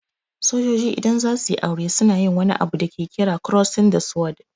Sojoji idan zasuyi aure suna yin wani abu da ke kira "Crossing the Sword".